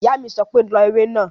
Ìyá mi sọ pé "lọ ewé náà!"